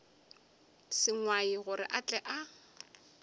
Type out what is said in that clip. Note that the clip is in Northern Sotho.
sengwai gore a tle a